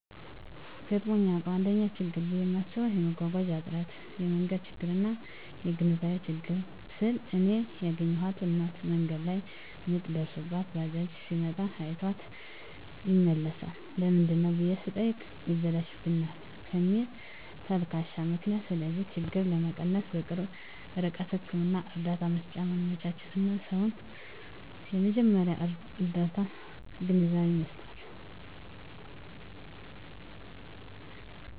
ገጥሞኝ ያዉቃል: 1ኛ :ችግር ብየ ማስበዉ የመጓጓዣ እጥረት የመንገድ ችግርና : (የግንዛቤ ችግር) ስል እኔ ያገኘኋት እናት መንገድ ላይ ምጥ ደርሶባት ባጃጅ ሲመጣ አይቷት ይመለሳል ለምንድነው ብየ ስጠይቅ ይበላሽብናል ከሚል ተልካሻ ምክንያት ስለዚህ ችግር ለመቀነስ_በቅርብ ርቀት ህክምና እርዳታ መሰጫ ማመቻቸትና: ሰዉን የመጀመርያ ርዳታ ግንዛቤ መስጠት።